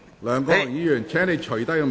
梁國雄議員，請你脫下面具。